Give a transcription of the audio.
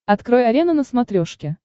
открой арена на смотрешке